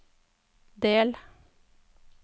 del